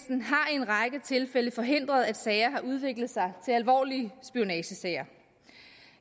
en række tilfælde forhindret at sager har udviklet sig til alvorlige spionagesager